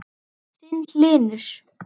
Þinn, Hlynur.